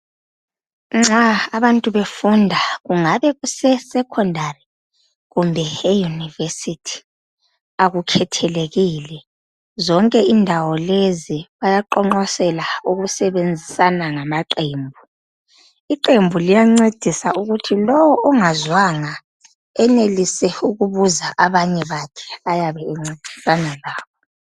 Nxa abantu befunda, kungabe kusesecondary kumbe eyunivesithi, akukhathelekile, zonke indawo lezi bayaqonqosela ukusebenzisana ngamaqembu. Iqembu liyancedisa ukuthi lowu ongazwanga enelise ukubuza abanye bakhe ayabe encedisana labo.